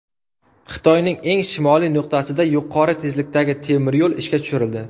Xitoyning eng shimoliy nuqtasida yuqori tezlikdagi temiryo‘l ishga tushirildi.